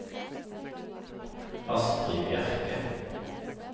Astri Bjerke